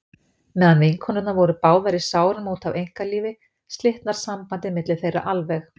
Meðan vinkonurnar voru báðar í sárum út af einkalífi slitnar sambandið milli þeirra alveg.